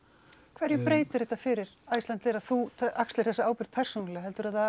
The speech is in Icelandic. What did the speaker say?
hverju breytir þetta fyrir Icelandair að þú axlir þessa ábyrgð persónulega